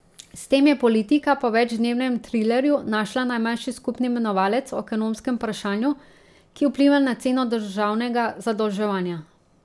S tem je politika po večdnevnem trilerju našla najmanjši skupni imenovalec o ekonomskem vprašanju, ki vpliva na ceno državnega zadolževanja.